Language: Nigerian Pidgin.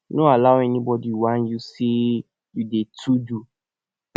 no allow anybodi whine yu sey you dey too do